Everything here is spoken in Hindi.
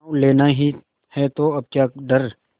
गॉँव लेना ही है तो अब क्या डर